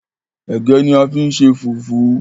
ẹgẹ ní a fí n ṣe fufu.